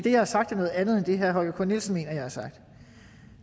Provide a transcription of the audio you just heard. det jeg har sagt er noget andet end det herre holger k nielsen mener jeg har sagt